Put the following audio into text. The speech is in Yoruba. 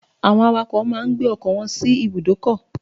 Drivers park their buses at the bus stop